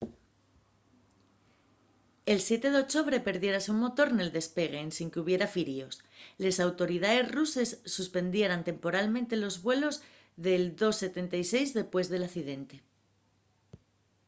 el siete d’ochobre perdiérase un motor nel despegue ensin qu’hubiera firíos. les autoridaes ruses suspendieran temporalmente los vuelos del ii-76 dempués del accidente